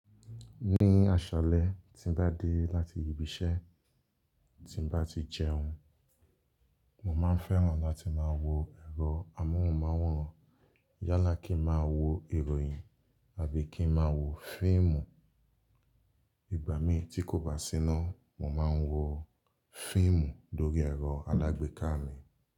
Ní àṣálẹ́ tí n bá dé láti ibi iṣẹ́ tí n bá ti jẹun, mo máa fẹ́ràn láti máa wo ẹ̀rọ amóhùnmáwòrán. Yálà kí n máa wo ìròyìn àbí kí n máa wo fíìmù. Ìgbà mí tí kò bá síná, mo máa ń wo fíìmù lórí ẹ̀rọ alágbèéká mi.